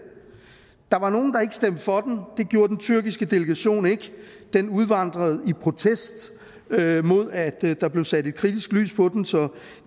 der var nogle der ikke stemte for den det gjorde den tyrkiske delegation ikke den udvandrede i protest mod at der blev sat et kritisk lys på dem så